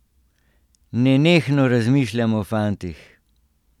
Nenehno razmišljam o fantih.